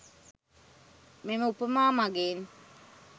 මෙම උපමා මගින්